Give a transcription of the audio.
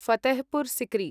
Fatehpur secrete